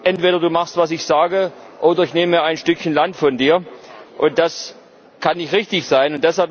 Entweder du machst, was ich sage, oder ich nehme ein Stückchen Land von dir. Das kann nicht richtig sein.